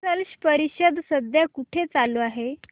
स्लश परिषद सध्या कुठे चालू आहे